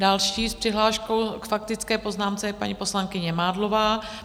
Další s přihláškou k faktické poznámce je paní poslankyně Mádlová.